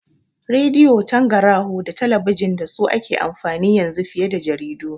Radi'o, tangaraho da talabijin dasu ake amfani yanzu fiye jaridu